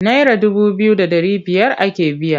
Naira dubu biyu da ɗari biyar ake biya.